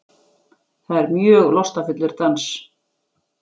Það er mjög lostafullur dans.